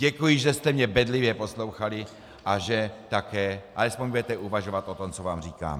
Děkuji, že jste mě bedlivě poslouchali a že také alespoň budete uvažovat o tom, co vám říkám.